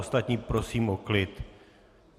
Ostatní prosím o klid.